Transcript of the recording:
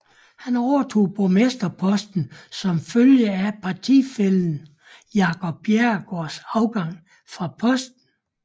Han overtog borgmesterposten som følge af partifællen Jacob Bjerregaards afgang fra posten